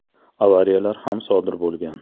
Avariyalar ham sodir bo‘lgan.